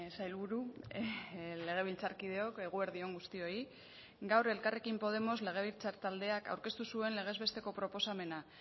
sailburu legebiltzarkideok eguerdi on guztioi gaur elkarrekin podemos legebiltzar taldeak aurkeztu zuen legez besteko proposamena